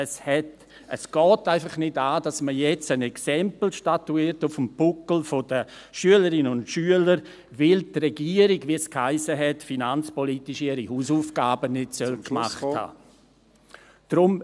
Es geht einfach nicht an, dass man jetzt auf dem Buckel der Schülerinnen und Schüler ein Exempel statuiert, weil die Regierung, wie es hiess, finanzpolitisch ihre Hausaufgaben nicht gemacht haben soll.